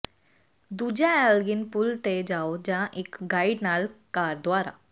ਦੂਜਾ ਐਲਗਿਨ ਪੁਲ ਤੇ ਜਾਓ ਜਾਂ ਇੱਕ ਗਾਈਡ ਨਾਲ ਕਾਰ ਦੁਆਰਾ